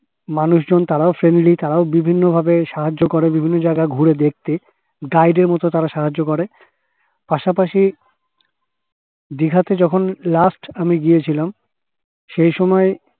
মানুষজন তারাও friendly তারাও বিভিন্ন ভাবে সাহায্য করে বিভিন্ন জায়গা ঘুরে দেখতে guide এর মতো তারা সাহায্য করে